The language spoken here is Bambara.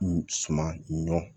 Suman ɲɔ